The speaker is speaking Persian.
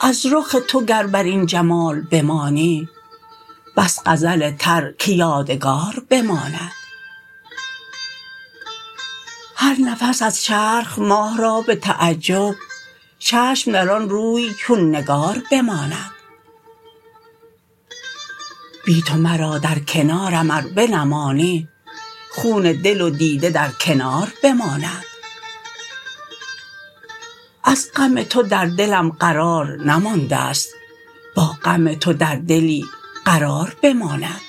از رخ تو گر بر این جمال بمانی بس غزل تر که یادگار بماند هر نفس از چرخ ماه را به تعجب چشم در آن روی چون نگار بماند بی تو مرا در کنارم ار بنمانی خون دل و دیده در کنار بماند از غم تو در دلم قرار نمانده ست با غم تو در دلی قرار بماند